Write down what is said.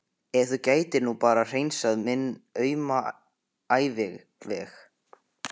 Ef þú gætir nú bara hreinsað minn auma æviveg.